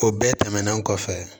O bɛɛ tɛmɛnen kɔfɛ